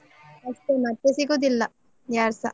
ಅಷ್ಟೇ ಮತ್ತೆ ಸಿಗುದಿಲ್ಲ, ಯಾರ್ಸ.